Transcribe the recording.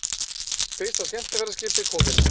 Fyrsta skemmtiferðaskipið komið